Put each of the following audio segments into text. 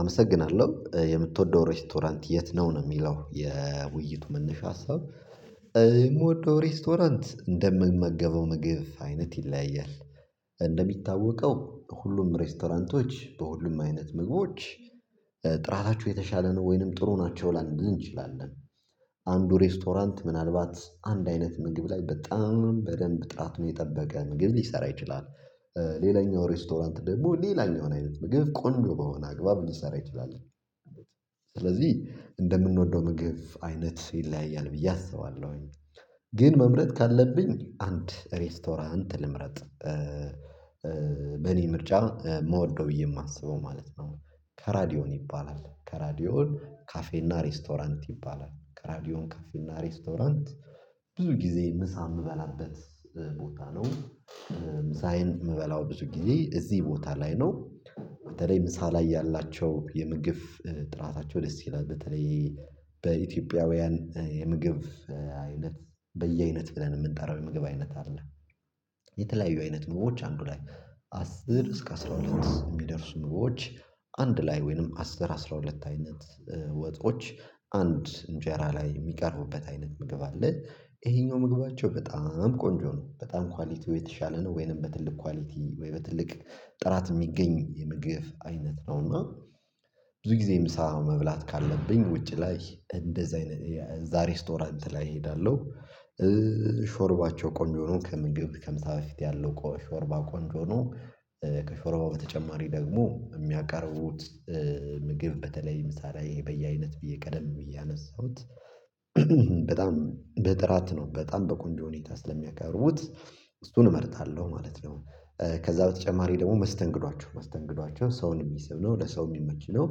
አመሰግናለሁ የምትወደው ሬስቶራንት የት ነው ነው የሚለው የውይይቱ መነሻ ሀሳብ? የምወደው ሬስቶራንት እንደምመገበው ምግብ አይነት ይለያያል። እንደሚታወቀው ሁሉም ሬስቶራንቶች በሁሉም አይነት ምግቦች ጥራታቸው የተሻለ ነው ወይንም ጥሩ ናቸው ላንልን እንችላለን። አንዱ ሬስቶራንት ምናልባት አንድ አይነት ምግብ ላይ በጣም በደንብ ጥራት ነው የጠበቀ ምግብ ሊሰራ ይችላል። ሌላኛው ሬስቶራንት ደግሞ ሌላ የሆነ አይነት ምግብ ቆንጆ በሆነ አግባብ ልንሰራ ይችላል። ስለዚህ እንደምንወደው ምግብ አይነት ይለያያል ብዬ አስባለሁኝ። ግን መምረጥ ካለብኝ አንድ ሬስቶራንት ልምረጥ። በእኔ ምርጫ መውደው የማስበው ማለት ነው። ከራዲዮን ይባላል ከራዲዮን ካፌና ሬስቶራንት ይባላል ከራዲዮን ካፌና ሬስቶራንት። ብዙ ጊዜ ምሳ የምበላበት ቦታ ነው። ምሳዬን የምበላው ብዙ ጊዜ እዚህ ቦታ ላይ ነው። በተለይ ምሳ ላይ ያላቸው የምግብ ጥራታቸው ደስ ይላል በተለይ በኢትዮጵያውያን የምግብ አይነት በየአይነት ብለን የምንጠራው የምግብ አይነት አለ። የተለያዩ አይነት ኑሮዎች አንዱ ላይ አስር እስከ አስራ ሁለት የሚደርሱ ምግቦች። አንድ ላይ ወይንም አስር አስራ ሁለት አይነት ወጦች አንድ እንጀራ ላይ የሚቀርቡበት አይነት ምግብ አለ። ይሄኛው ምግባቸው በጣም ቆንጆ ነው በጣም ኳሊቲው የተሻለ ነው ወይንም በትልቅ ኳሊቲ ወይ በትልቅ ጥራት የሚገኝ የምግብ አይነት ነውና። ብዙ ጊዜ ምሳ መብላት ካለብኝ ውጪ ላይ እንደዛ አይነት የዛ ሬስቶራንት ላይ እሄዳለሁ። ሾርባቸው ቆንጆ ሆኖ ከምግብ ከምሳ በፊት ያለው ሾርባ ቆንጆ ሆኖ ከሾርባው በተጨማሪ ደግሞ የሚያቀርቡት ምግብ በተለይ ምሳ ላይ በየአይነት ብዬ ቀደም ብዬ ያነሳሁት በጣም በጥራት ነው በጣም በቆንዶ ሁኔታ ስለሚያቀርቡት እሱን እመርጣለሁ ማለት ነው። ከዛ በተጨማሪ ደግሞ መስተንግዷቸው መስተንግዷቸው ሰውን የሚስብ ነው ለሰው የሚመች ነው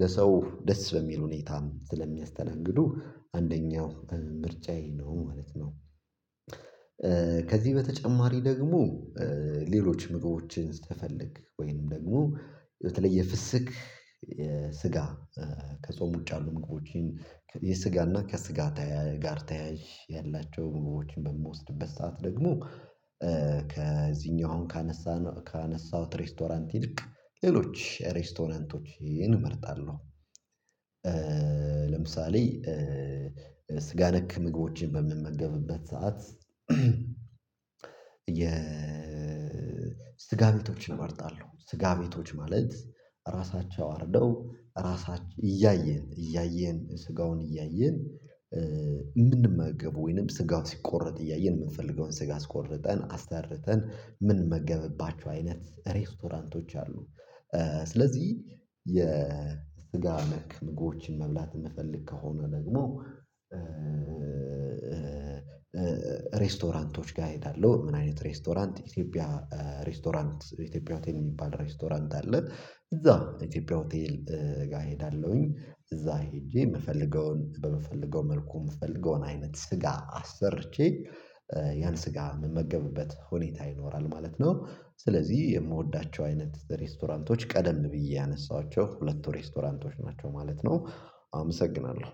ለሰው ደስ በሚል ሁኔታም ስለሚያስተናግዱ አንደኛው ምርጫዬ ነው ማለት ነው። ከዚህ በተጨማሪ ደግሞ ሌሎች ምግቦችን ስትፈልግ ወይንም ደግሞ የተለየ ፍስክ ስጋ ከጾም ውጭ አሉ ምግቦችን የስጋና ከስጋ ጋር ተያይ ያላቸውን ምግቦችን በምወስድበት ሰዓት ደግሞ ከዚህኛውን ካነሳነው ካነሳሁት ሬስቶራንት ይልቅ ሌሎች ሬስቶራንቶችን እመርጣለሁ። ለምሳሌ ስጋ ነክ ምግቦችን በምመገብበት ሰዓት የ ስጋ ቤቶችን እመርጣለሁ ስጋ ቤቶች ማለት ራሳቸው አርደው ራሳቸው እያየን እያየን ስጋውን እያየን የምንመገብ ወይንም ስጋው ሲቆረጥ እያየን የምንፈልገውን ስጋ አስቆርጠን አስርተን ምንመገብባችሁ አይነት ሬስቶራንቶች አሉ። ስለዚህ የስጋ ነክ ምግቦችን መብላት የምፈልግ ከሆነ ደግሞ ሬስቶራንቶች ጋር እሄዳለሁ ምን አይነት ሬስቶራንት ኢትዮጵያ ሬስቶራንት ኢትዮጵያ ሆቴል የሚባል ሬስቶራንት አለን እዛ ኢትዮጵያ ሆቴል ጋር እሄዳለሁኝ። እዛ ሄጄ የምፈልገውን በምፈልገው መልኩ የምፈልገውን አይነት ስጋ አሰርቼ ያን ስጋ የምመገብበት ሁኔታ ይኖራል ማለት ነው። ስለዚህ የምወዳቸው አይነት ሬስቶራንቶች ቀደም ብዬ ያነሳኋቸው ሁለቱ ሬስቶራንቶች ናቸው ማለት ነው። አመሰግናለሁ።